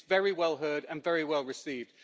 It is very well heard and very well received.